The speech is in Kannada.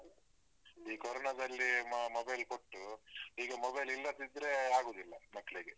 ಈ ಕೊರೊನದಲ್ಲಿ ಮ mobile ಕೊಟ್ಟು ಈಗ mobile ಇಲ್ಲದಿದ್ರೆ ಆಗುವುದಿಲ್ಲ ಮಕ್ಳಿಗೆ.